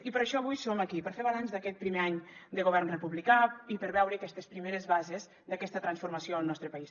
i per això avui som aquí per fer balanç d’aquest primer any del govern republicà i per veure aquestes primeres bases d’aquesta transformació al nostre país